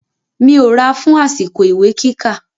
Mi ò ra fun àsìkò ìwé kíkà.